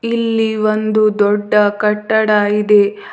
ಇಲ್ಲಿ ಒಂದು ದೊಡ್ಡ ಕಟ್ಟಡ ಇದೆ.